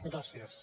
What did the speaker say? gràcies